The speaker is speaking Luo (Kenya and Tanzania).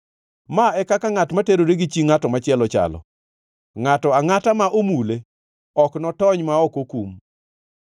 Ma e kaka ngʼat ma terore gi chi ngʼat machielo chalo; ngʼato angʼata ma omule ok notony ma ok okum.